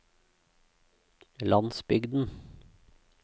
landsbygden